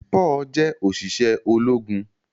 Paul jẹ oṣiṣẹ ológun.